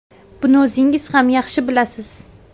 Buni o‘zingiz ham yaxshi bilasiz.